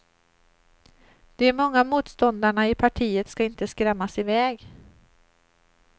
De många motståndarna i partiet ska inte skrämmas iväg.